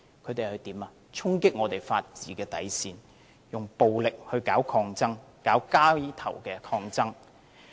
他們衝擊法治的底線，以暴力搞抗爭、搞街頭抗爭。